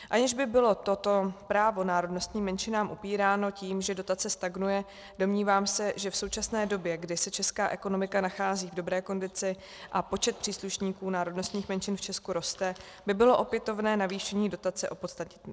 Aniž by bylo toto právo národnostním menšinám upíráno tím, že dotace stagnuje, domnívám se, že v současné době, kdy se česká ekonomika nachází v dobré kondici a počet příslušníků národnostních menšin v Česku roste, by bylo opětovné navýšení dotace opodstatnitelné.